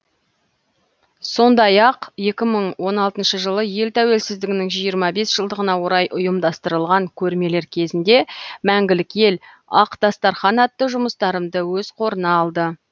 сондай ақ екі мың он алтыншы жылы ел тәуелсіздігінің жиырма бес жылдығына орай ұйымдастырылған көрмелер кезінде мәңгілік ел ақ дастархан атты жұмыстарымды өз қорына алды